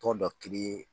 Tɔn dɔ kelen